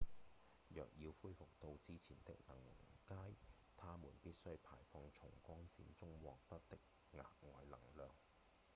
若要恢復到之前的能階它們必須排放從光線中獲得的額外能量